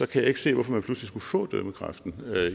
kan jeg ikke se hvorfor man pludselig skulle få dømmekraft